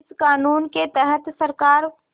इस क़ानून के तहत सरकार